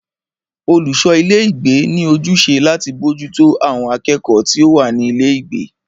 Olùṣọ ilé ìgbé ní ojúṣe láti bójútó àwọn akẹ́kọ̀ọ́ tí o wá ní ilé ìgbé.